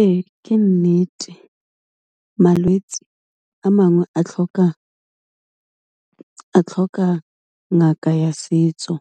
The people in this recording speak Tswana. Ee ke nnete malwetsi a mangwe a tlhoka ngaka ya setso,